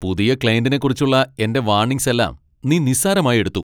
പുതിയ ക്ളൈന്റിനെക്കുറിച്ചുള്ള എന്റെ വാണിങ്സ് എല്ലാം നീ നിസ്സാരമായി എടുത്തു.